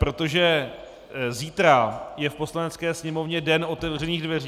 Protože zítra je v Poslanecké sněmovně den otevřených dveří.